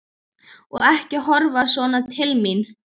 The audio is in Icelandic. Og ekki horfa svona til mín!